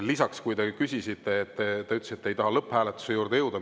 Lisaks, te ütlesite, et te ei taha lõpphääletuse juurde jõuda.